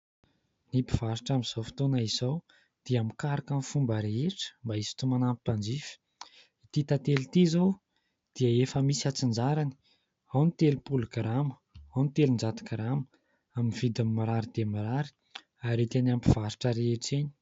Ny mpivarotra amin'izao fotoana izao dia mikaroka ny fomba rehetra mba hisintonana ny mpanjifa. Ity tantely ity izao dia efa misy antsinjarany : ao ny telopolo grama, ao ny telonjato grama. Amin'ny vidiny mirary dia mirary ary hita eny amin'ny mpivarotra rehetra eny.